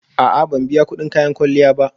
A'a, ban biya kudin kayan kwalliya ba